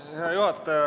Hea juhataja!